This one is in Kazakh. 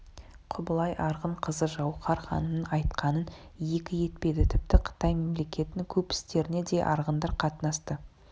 құбылай арғын қызы жауһар ханымның айтқанын екі етпеді тіпті қытай мемлекетінің көп істеріне де арғындар қатынасты